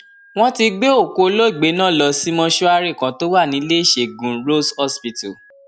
wọn ti gbé òkú olóògbé náà lọ sí mọṣúárì kan tó wà níléeṣẹgun rose hospital